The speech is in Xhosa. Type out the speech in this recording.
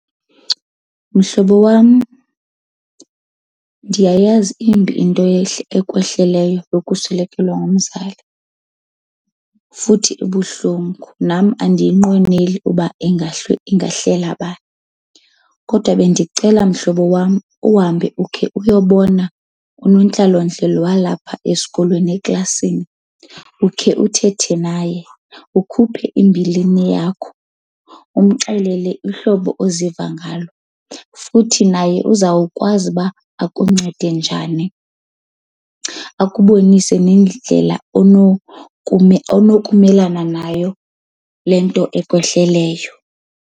Mhlobo wam, ndiyayazi imbi into ekwehleleyo yokuswelekelwa ngumzali futhi ibuhlungu nam andiyinqweneli uba ingahlela bani. Kodwa bendicela mhlobo wam uhambe ukhe uyobona unontlalontle lo walapha esikolweni eklasini ukhe uthethe naye. Ukhuphe imbilini yakho, umxelele uhlobo oziva ngalo. Futhi naye uzawukwazi uba akuncede njani, akubonise nendlela onokumelana nayo le nto ekwehlelayo.